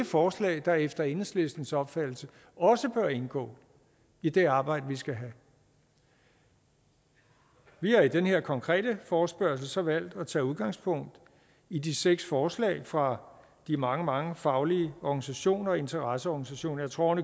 forslag der efter enhedslistens opfattelse også bør indgå i det arbejde vi skal have vi har i den her konkrete forespørgsel så valgt at tage udgangspunkt i de seks forslag fra de mange mange faglige organisationer og interesseorganisationer jeg tror